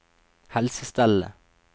helsestellet